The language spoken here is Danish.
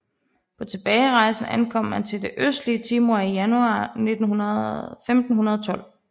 På tilbagerejsen ankom man til det østlige Timor i januar 1512